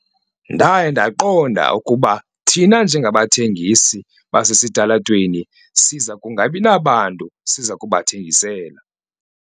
Ndaye ndaqonda ukuba thina njengabathengisi basesitalatweni siza kungabi nabantu siza kubathengisela.